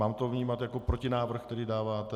Mám to vnímat jako protinávrh, který dáváte?